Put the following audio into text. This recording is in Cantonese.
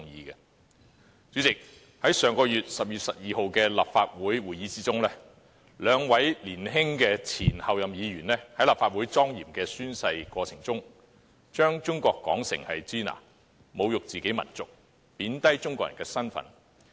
代理主席，在10月12日的立法會會議上，兩位年輕的前候任議員在莊嚴的立法會宣誓過程中，把中國說成"支那"，侮辱自己民族，貶低中國人的身份。